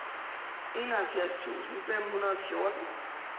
enoghalvfjerds tusind fem hundrede og fjorten